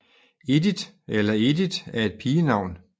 Edith eller Edit er et pigenavn